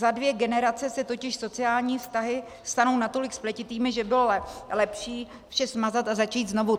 Za dvě generace se totiž sociální vztahy stanou natolik spletitými, že bylo lepší vše smazat a začít znovu.